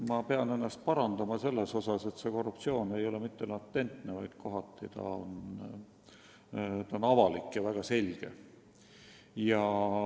Ma pean ennast parandama: see korruptsioon ei ole mitte latentne, vaid kohati on see avalik ja väga selge.